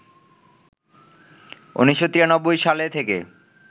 ১৯৯৩ সালে থেকে